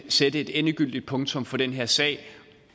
sætte et endegyldigt punktum for den her sag